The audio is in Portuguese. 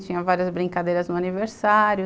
Tinha várias brincadeiras no aniversário.